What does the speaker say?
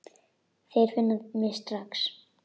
Þeir finna mig strax.